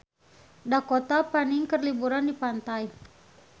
Dakota Fanning keur liburan di pantai